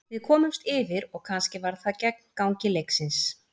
Við komumst yfir og kannski var það gegn gangi leiksins.